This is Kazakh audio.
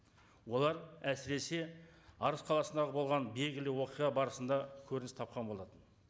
олар әсіресе арыс қаласындағы болған белгілі оқиға барысында көрініс тапқан болатын